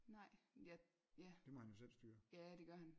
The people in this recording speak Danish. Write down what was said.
Nej jeg ja ja det gør han